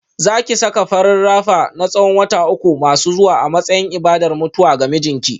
Za ki saka farin rapper na tsawon wata uku masu zuwa a matsayin ibadar mutuwa ga mijinki